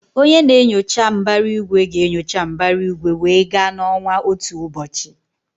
Onye na-enyocha mbara igwe ga-enyocha mbara igwe wee gaa na ọnwa otu ụbọchị.